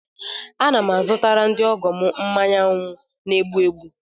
Ana m azụtara ndị ọgọ m mmanya wynu na-egbu egbu.